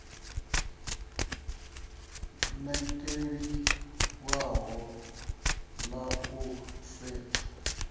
ṋekedze ḽinwalo ḽa u setsha